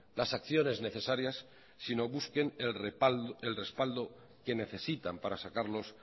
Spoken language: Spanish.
las acciones necesarias sino busquen el respaldo que necesitan para sacarlos